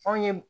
F'anw ye